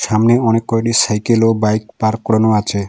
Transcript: সামনে অনেক কয়টি সাইকেল ও বাইক পার্ক করানো আছে।